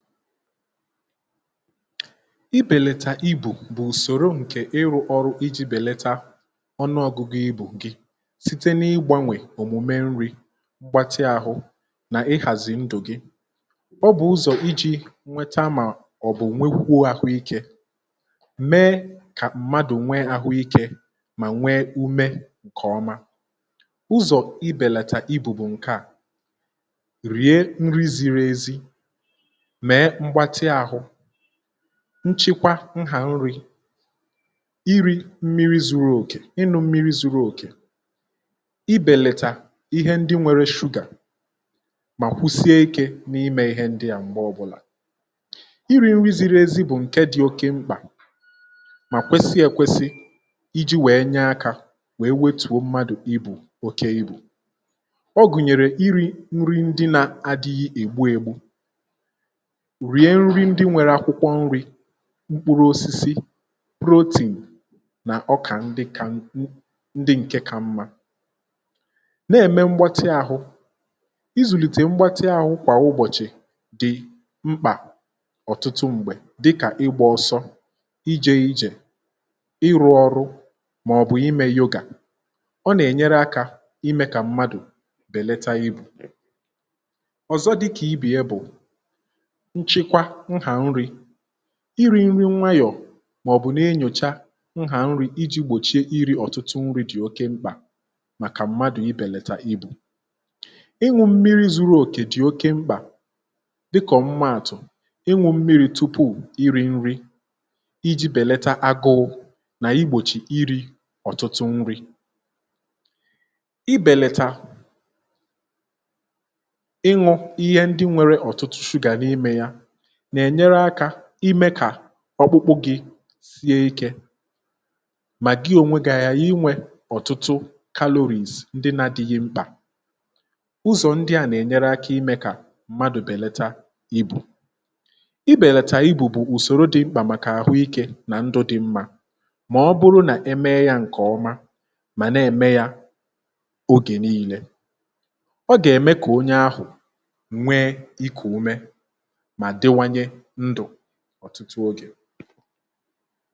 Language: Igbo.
ibèlètà ibù bụ̀ ùsòro ǹkè ịrụ̇ ọrụ iji̇ bèléta ọnụọ̀gụgụ ibù gị site n’ịgbȧnwè òmùme nri mgbatị ȧhụ̇ nà ihàzì ndụ̀ gị, ọ bụ̀ ụzọ̀ iji̇ nweta mà ọ̀ bụ̀ nwekwuȧhụ̇ ike mee kà mmadụ̀ nwee àhụ ikė mà nwee ume ǹkè ọma, ụzọ̀ ibèlàtà ibù bù ǹkè à, rie nri ziri ezi, mee mgbáti ahụ, nchekwa nhà nri̇ iri̇ mmiri̇ zuru òkè inụ̇ mmiri zuru òkè, i bèlètà ihe ndị nwere shugà mà kwụsie ikė n’imė ihe ndịà m̀gbè ọbụlà ,iri̇ nri ziri ezi bụ̀ ǹke dị̇ oke mkpà mà kwesie ekwesi iji̇ wèe nye akȧ wèe wetùo mmadụ̀ ibu̇ òkè ibu̇ ọ gụ̀nyèrè iri̇ nri ndị nȧ adịghị ègbu ègbu, rie nri ndị nwere akwụkwọ nri̇ mkpụrụ osisi, protein nà ọkà ndị kà ndị ǹke kà mma, na-ème mgbatị ahụ izùlìtè mgbatị ahụ kwà ụbọ̀chị̀ dị mkpà ọ̀tụtụ m̀gbè dịkà ịgbȧ ọsọ, ije ijè ,ịrụ̇ ọrụ màọ̀bụ̀ imė yoga ọ nà-ènyere akȧ imė kà mmadụ̀ bèleta ịbụ̀ ọ̀zọ dịkà ịbe ya bụ̀ nchekwa nha nri, iri nri nwayọ màọ̀bụ̀ nà-enyòcha nhà nri iji̇ gbòchie iri̇ ọ̀tụtụ nri̇ dị̀ oke mkpà màkà mmadụ̀ ịbèlètà ibu̇, ịñụ̇ mmiri zuru òkè dị̀ oke mkpà dịka omumàtụ̀, ịñụ̇ mmiri tupu iri̇ nri iji̇ bèleta agụụ nà igbòchì iri̇ ọ̀tụtụ nri ibèleta iñụ̇ ihe ndị nwere ọ̀tụtụ shugà n’imė yȧ na- enyere aka ime ka ọkpụkpụ gị sie ikė ma gị ònwe gị̇ aghighi inwė ọ̀tụtụ caloris ndị na-adịghị mkpà ụzọ̀ ndị à nà-ènyere aka imė kà mmadụ̀ bèlata ibù, ibèlàtà ibù bụ̀ ùsòrò dị mkpà màkà àhụ ikė nà ndụ̇ dị mmȧ ma ọ bụrụ nà eme yȧ ǹkè ọma mà na-ème yȧ ogè niile ọ gà-ème kà onye ahụ̀ nwee ikù umė ma diwanye ndụ ọtụtụ ogè